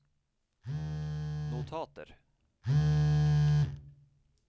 notater